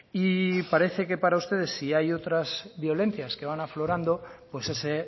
y parece que para ustedes si hay otras violencias que van aflorando pues ese